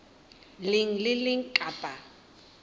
leng le le leng kapa